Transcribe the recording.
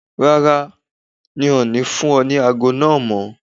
Rárá, N ò ní fún ọ ní ago náà mọ́.